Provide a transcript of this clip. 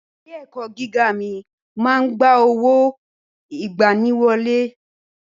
Ilé ẹ̀kọ́ gíga mi máa ń gba owó ìgbaniwọlé.